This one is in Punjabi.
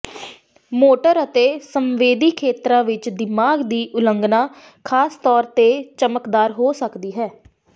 ਮੋਟਰ ਅਤੇ ਸੰਵੇਦੀ ਖੇਤਰਾਂ ਵਿਚ ਦਿਮਾਗ ਦੀ ਉਲੰਘਣਾ ਖਾਸ ਤੌਰ ਤੇ ਚਮਕਦਾਰ ਹੋ ਸਕਦੀ ਹੈ